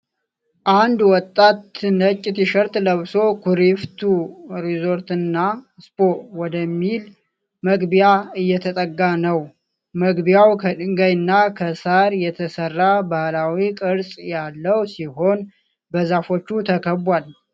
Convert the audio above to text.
አንድ ወጣት ነጭ ቲሸርት ለብሶ "ኩሪፍቱ ሪዞርት እና ስፓ" ወደሚል መግቢያ እየተጠጋ ነው። መግቢያው ከድንጋይና ከሳር የተሰራ ባህላዊ ቅርጽ ያለው ሲሆን፣ በዛፎች ተከቧል።